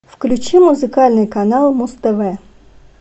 включи музыкальный канал муз тв